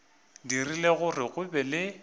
dirile gore go be le